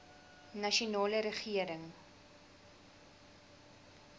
nasionale regering